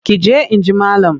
Ki je in ji malam!